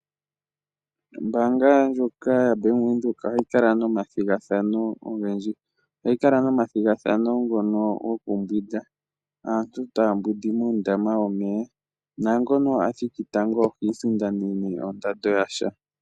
Ombaanga ndyoka yaBank Windhoek ohayi kala nomathigathano ogendji, ohayi kala nomathigathano ngoka gokumbwinda, aantu taya mbwindi muundama womeya na ngoka athiki tango ohisindanene ondando yasha..